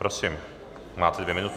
Prosím máte dvě minuty.